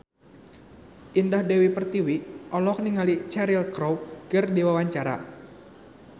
Indah Dewi Pertiwi olohok ningali Cheryl Crow keur diwawancara